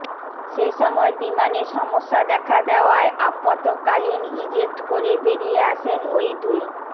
সেসময় বিমানে সমস্যা দেখা দেওয়ায় আপাতকালীন ইজেক্ট করে বেরিয়ে আসেন ওই দুই